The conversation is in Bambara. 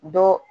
Dɔ